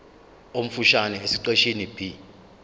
omfushane esiqeshini b